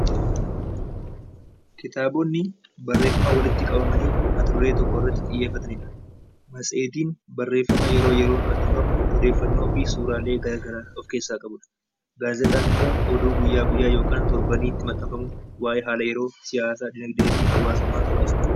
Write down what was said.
kitaabonni barreeffama walitti qabamanii mata-duree tokko irratti xiyyeeffatanidha. Matseetiin barreeffama yeroo yeroon maxxanfamu oddeeffannoofi suuraalee garagaraa of keessaa qabudha. Gaazexaan immoo oduu guyyaa guyyaa yookaan torbaniitti maxxanfamu waa'ee haala yeroo, siyaasaaa, dinagdeefi hawaasummaa gabaasa.